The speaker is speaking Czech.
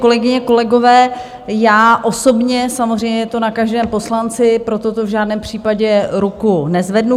Kolegyně, kolegové, já osobně, samozřejmě je to na každém poslanci, pro toto v žádném případě ruku nezvednu.